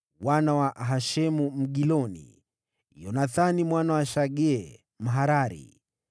wana wa Hashemu Mgiloni, Yonathani mwana wa Shagee Mharari,